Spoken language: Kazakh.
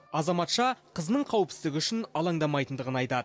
азаматша қызының қауіпсіздігі үшін алаңдамайтындығын айтады